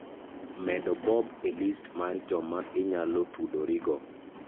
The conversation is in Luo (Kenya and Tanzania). medo bob e list mar joma inyalo tudorigo